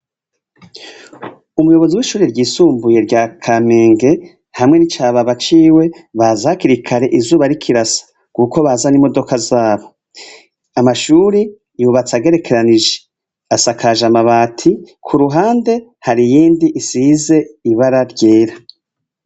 Umuyobozi w'ishure ryisumbuye rya Kamenge hamwe n'icababa ciwe baza hakiri kare izuba rikirasa kuko baza n'imodoka zabo, amashuri yubatse agerekeranije, asakaje amabati, kuruhande hari iyindi isize ibara ryera.